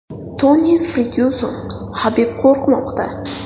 Toni Fergyuson: Habib qo‘rqmoqda.